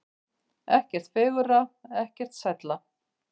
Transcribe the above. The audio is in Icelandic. Ekkert fegurra, ekkert sælla.